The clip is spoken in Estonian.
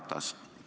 Härra Ratas!